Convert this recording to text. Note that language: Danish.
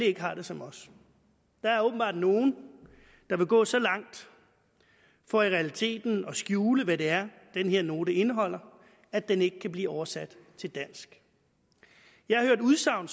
ikke har det som os der er åbenbart nogle der vil gå så langt for i realiteten at skjule hvad det er den her note indeholder at den ikke kan blive oversat til dansk jeg har hørt udsagn